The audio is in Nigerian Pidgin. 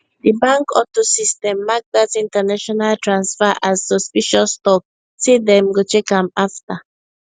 di bank auto system mark dat international transfer as suspicious talk say dem go check am afta